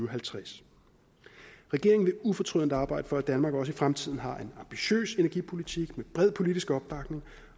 og halvtreds regeringen vil ufortrødent arbejde for at danmark også i fremtiden har en ambitiøs energipolitik med bred politisk opbakning